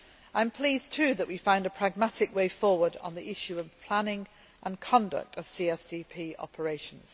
I am pleased too that we found a pragmatic way forward on the issue of the planning and conduct of CSDP operations.